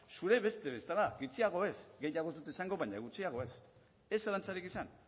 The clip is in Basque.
zure beste bezala gutxiago ez gehiago ez dut esango baina gutxiago ez ez zalantzarik izan